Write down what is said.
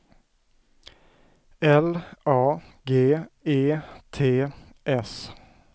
L A G E T S